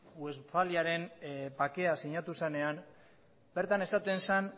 westfaliaren bakea sinatu zenean bertan esaten zen